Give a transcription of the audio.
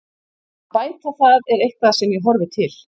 Að bæta það er eitthvað sem ég horfi til.